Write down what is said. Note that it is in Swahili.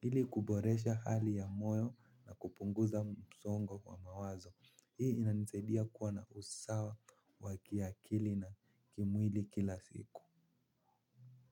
Ili kuboresha hali ya moyo na kupunguza msongo kwa mawazo hii inanisaudia kuwa na usawa wa kiakili na kimwili kila siku.